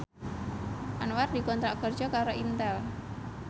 Anwar dikontrak kerja karo Intel